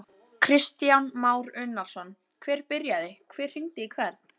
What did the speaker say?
Kristján Már Unnarsson: Hver byrjaði, hver hringdi í hvern?